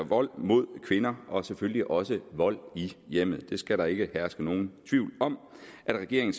vold mod kvinder og selvfølgelig også vold i hjemmet det skal der ikke herske nogen tvivl om regeringen